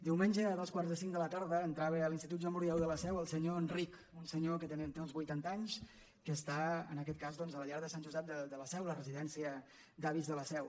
diumenge a dos quarts de cinc de la tarda entrava a l’institut joan brudieu de la seu el senyor enric un senyor que té uns vuitanta anys que està en aquest cas doncs a la llar de sant josep de la seu la re·sidència d’avis de la seu